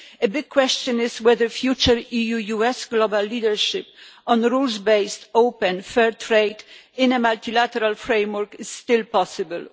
A big question is whether a future EU-US global leadership on rules-based, open, fair trade in a multilateral framework is still possible.